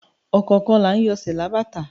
Ọ̀kọọkan laa ń yọ sẹ̀ lábátà